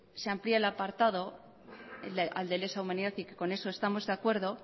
se amplía el apartado al de lesa humanidad y que con eso estamos de acuerdo